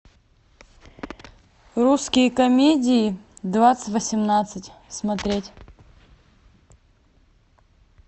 русские комедии двадцать восемнадцать смотреть